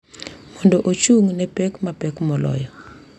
Mondo ochung’ ne pek mapek moloyo.